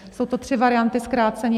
Jsou to tři varianty zkrácení.